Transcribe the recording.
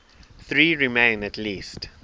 there remain at least